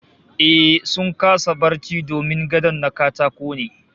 Ehh, sun kasa barci domin gadon na katako ne